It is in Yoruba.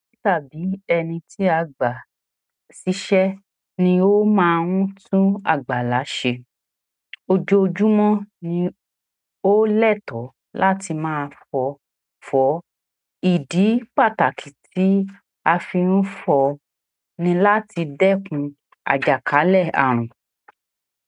Tàbí ẹni tí a gbà ṣíṣẹ́ ni ó máa ń tún àgbàlá ṣe. Ojoojúmọ́ ni ó lẹ́tọ̀ọ́ láti máa fọ. Ìdí pàtàkì tí a fi ń fọ ni láti dẹ́kun àjàkálẹ̀ àrùn.